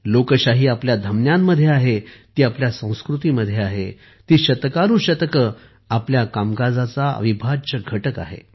लोकशाही आपल्या धमन्यांमध्ये आहे ती आपल्या संस्कृतीमध्ये आहे ती शतकानुशतके आपल्या कामकाजाचा अविभाज्य घटक आहे